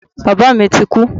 Bàbá mi ti kú.